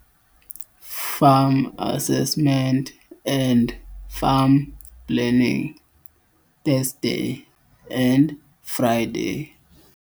Farm Assessment and Farm Planning, Thursday and Friday,